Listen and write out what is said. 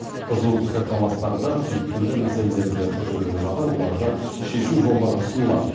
қызу пікірталастарда түйткілді мәселелерді көтерумен қатар оларды шешу жолдары ұсынылады